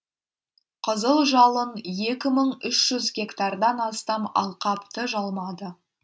қызыл жалын екі мың үш жүз гектардан астам алқапты жалмады